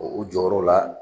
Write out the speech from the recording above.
O o jɔyɔrɔw la